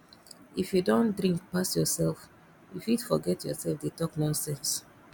if you don drink pass yourself you fit forget yourself dey talk nonsense